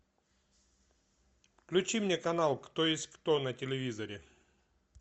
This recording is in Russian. включи мне канал кто есть кто на телевизоре